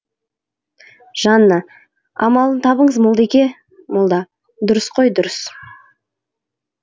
жанна амалын табыңыз молдеке молда дұрыс қой дұрыс